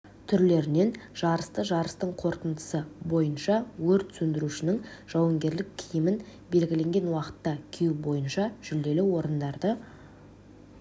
түрлерінен жарысты жарыстың қорытындысы бойынша өрт сөндірушінің жауынгерлік киімін белгіленген уақытқа кию бойынша жүлделі орындарды